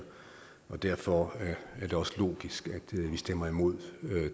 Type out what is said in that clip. og derfor er det også logisk at vi stemmer imod